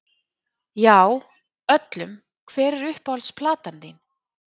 Já, öllum Hver er uppáhalds platan þín?